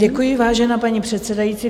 Děkuji, vážená paní předsedající.